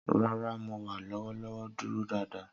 Rara, Mo wa lọwọlọwọ duro daadaa.